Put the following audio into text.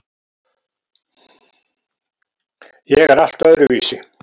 Ég er allt öðruvísi.